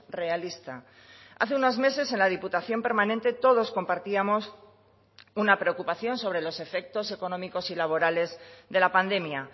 realista hace unos meses en la diputación permanente todos compartíamos una preocupación sobre los efectos económicos y laborales de la pandemia